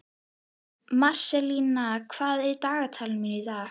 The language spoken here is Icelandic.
Marselína, hvað er á dagatalinu mínu í dag?